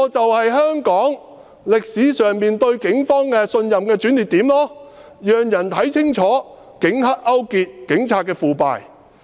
這便是香港歷史上市民對警方信任度的轉捩點，人們清楚看到警黑勾結、警察腐敗。